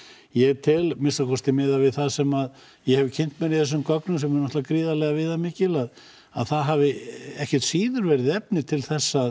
ég tel að minnsta kosti miðað við það sem ég hef kynnt mér í þessum gögnum sem eru náttúrulega gríðarlega viðamikil að það hafi ekkert síður verið tilefni til að